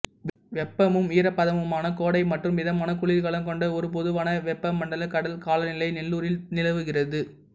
வெப்பமும் ஈரப்பதமுமான கோடை மற்றும் மிதமான குளிர்காலம் கொண்ட ஒரு பொதுவான வெப்பமண்டல கடல் காலநிலை நெல்லூரில் நிலவுகிறது